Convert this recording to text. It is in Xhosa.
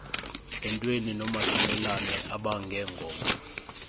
entweni nomahlulelane abangengoma